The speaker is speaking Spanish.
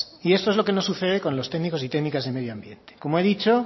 y esto es lo que nos sucede con los técnicos y técnicas de medio ambiente como he dicho